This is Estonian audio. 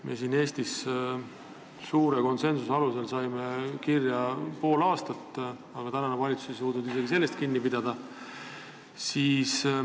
Meie siin Eestis saime konsensuse alusel kirja pandud pool aastat, aga tänane valitsus ei suuda isegi sellest kinni pidada.